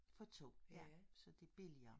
For 2 ja så det billigere